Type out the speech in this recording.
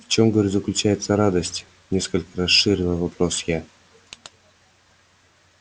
в чем говорю заключается радость несколько расширила вопрос я